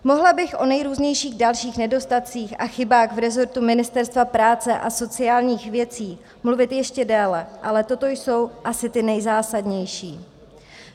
Mohla bych o nejrůznějších dalších nedostatcích a chybách v rezortu Ministerstva práce a sociálních věcí mluvit ještě déle, ale toto jsou asi ty nejzásadnější.